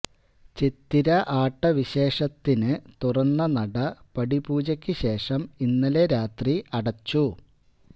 ചിത്തിര ആട്ടവിശേഷത്തിന് തുറന്ന നട പടിപൂജയ്ക്ക് ശേഷം ഇന്നലെ രാത്രി അടച്ചു